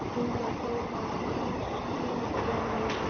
Hún var þó bara ósköp venjuleg kona.